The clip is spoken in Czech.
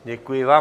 Děkuji vám.